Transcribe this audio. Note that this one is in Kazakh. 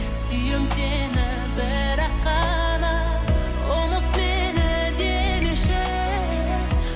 сүйем сені бірақ қана ұмыт мені демеші